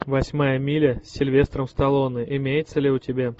восьмая миля с сильвестром сталлоне имеется ли у тебя